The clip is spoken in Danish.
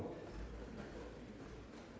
da